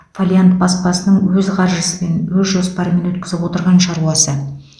фолиант баспасының өз қаржысымен өз жоспарымен өткізіп отырған шаруасы